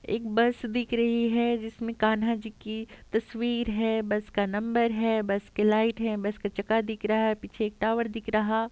एक बस दिख रही है। जिसमे कान्हा जी की तस्वीर है। बस का नंबर है। बस की लाईट है। बस का चका दिख रहा है। पीछे एक टावर दिख रहा --